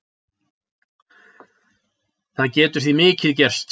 Það getur því mikið gerst.